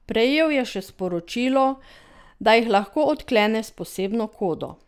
Prejel je še sporočilo, da jih lahko odklene s posebno kodo.